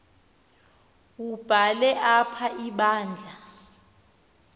wubhale apha ibandla